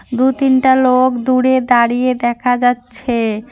দু তিনটা লোক দূরে দাঁড়িয়ে দেখা যাচ্ছে।